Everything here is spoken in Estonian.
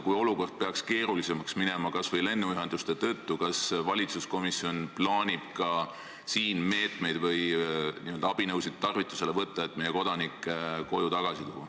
Kui olukord peaks keerulisemaks minema – kas või lennuühenduste tõttu –, siis kas valitsuskomisjon plaanib ka siin abinõusid tarvitusele võtta, et meie kodanik tagasi koju tuua?